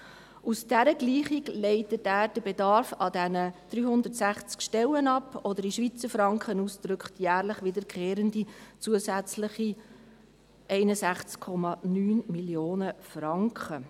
Aus dieser Gleichung leitet er den Bedarf an 360 Stellen ab, oder, in Schweizer Franken ausgedrückt, jährlich wiederkehrende zusätzliche 61,9 Mio. Franken.